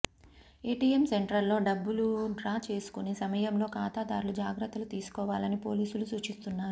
ATM సెంటర్లో డబ్బులు draw చేసుకునే సమయంలో ఖాతాదారులు జాగ్రత్త లు తీసుకోవాలని పోలీసులు సూచిస్తున్నారు